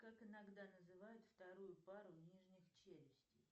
как иногда называют вторую пару нижних челюстей